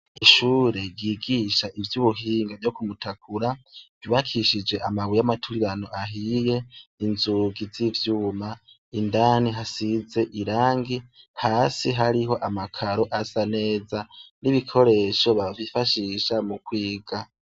Ishure ryigisha ivy' ubuhinga ryo kumutakura ryubakishije amabuye y' amaturirano ahiye inzugi z' ivyuma indani hasize irangi hasi hariho amakaro asa neza n' ibikoresho bifashisha mukwiga.